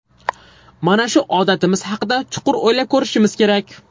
Mana shu odatimiz haqida chuqur o‘ylab ko‘rishimiz kerak.